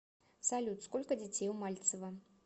салют сколько детей у мальцева